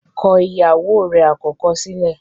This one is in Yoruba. kọ ìyàwó rẹ̀ àkọ́kọ́ sílẹ̀!